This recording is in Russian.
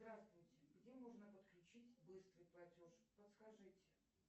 здравствуйте где можно подключить быстрый платеж подскажите